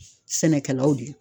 Sɛnɛkɛlaw de